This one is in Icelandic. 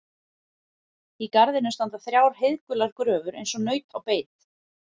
Í garðinum standa þrjár heiðgular gröfur eins og naut á beit.